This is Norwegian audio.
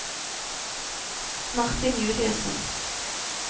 Martin Juliussen